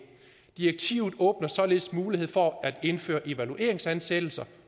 direktivet åbner således mulighed for at indføre evalueringsansættelser